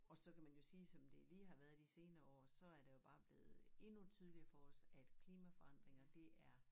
Og så kan man jo sige som det lige har været i de senere år så er der jo bere blevet endnu tydeligere for os at klimaforandringer det er